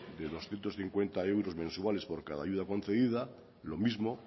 de doscientos cincuenta euros mensuales por cada ayuda concedida lo mismo